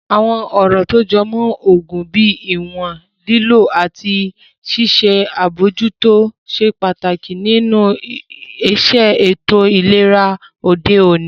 Àwọn ọ̀rọ̀ tó jọ mọ́ oògùn bíi ìwọ̀n lílò àti ṣíṣe àbojútó ṣe pàtàkì nínu iṣẹ́ ètò ìlera òde òní